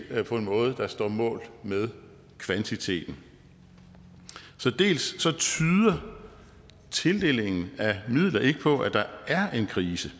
på en måde der står mål med kvantiteten så tildelingen af midler tyder ikke på at der er en krise